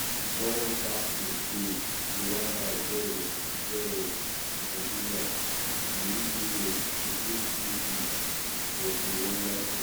um ball back in play rwanda 0-0 nigeria muhire to takefree kick fordi rwanda team.